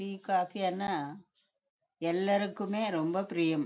D coffee ஆனா எல்லாருக்குமே ரொம்ப பிரியம்